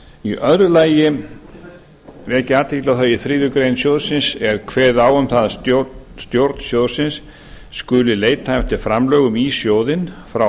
í öðru lagi vek ég athygli á því að í þriðju grein sjóðsins er kveðið á um að stjórn sjóðsins skuli leita eftir framlögum í sjóðinn frá